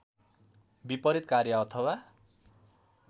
विपरित कार्य अथवा